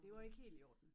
Det var ikke helt i orden